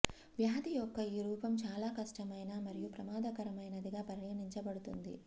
వ్యాధి యొక్క ఈ రూపం చాలా కష్టమైన మరియు ప్రమాదకరమైనదిగా పరిగణించబడుతుంది